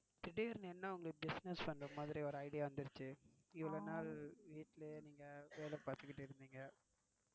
திடீர்னு என்ன உங்களுக்கு business பண்ற மாதிரி ஒரு idea வந்திச்சி. இவளோ நாள் வீட்டிலே நீங்க வேல பாத்திட்டு இருந்தீங்க.